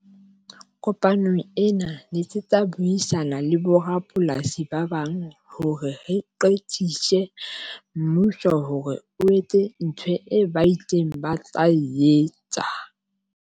Kopanong ena letsetsa buisana le borapolasi ba bang hore re qekise mmuso hore o etse ntho e ba ileng ba tla etsa.